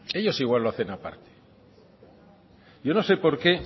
ellos igual lo hacen aparte yo no sé por qué